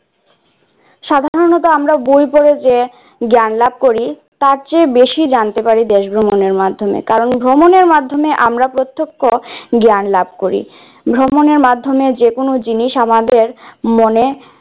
সাধারণত বই পড়ে আমরা যে জ্ঞান লাভ করি, তার চেয়ে বেশি জানতে পারে দেশ ভ্রমণের মাধ্যমে কারণ আমরা প্রত্যক্ষ জ্ঞান লাভ করি, ভ্রমনের মাধ্যম যে কোন জিনিস আমাদের মনে